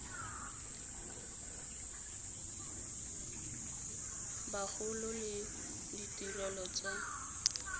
ba gola le ditirelo tsa